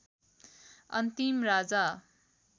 अन्तिम राजा